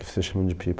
Você chama de pipa,